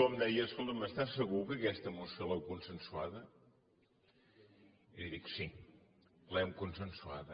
em deia escolta’m estàs segur que aquesta moció l’heu consensuada li dic sí l’hem consensuada